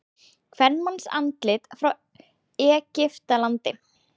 Kvenmannsandlit frá Egyptalandi.